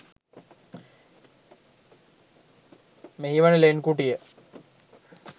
මෙහි වන ලෙන් කුටිය